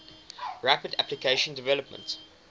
rapid application development